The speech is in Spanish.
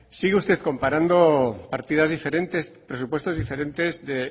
sigue usted comparando partidas diferentes presupuestos diferentes de